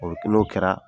O n'o kɛra